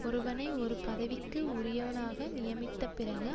ஒருவனை ஒரு பதவிக்கு உரியவனாக நியமித்த பிறகு